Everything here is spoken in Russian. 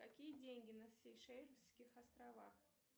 какие деньги на сейшельских островах